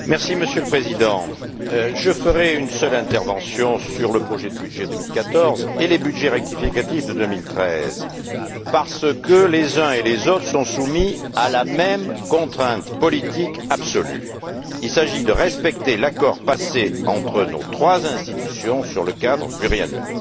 Monsieur le Président, je ferai une seule intervention sur le projet de budget 2014 et les budgets rectificatifs de 2013 parce que tous sont soumis à la même contrainte politique absolue il s'agit de respecter l'accord passé entre nos trois institutions sur le cadre financier pluriannuel.